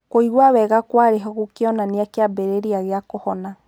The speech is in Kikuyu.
Kũigua wega kũarĩ-ho gũkĩonania kĩambĩrĩria gĩa kũhona.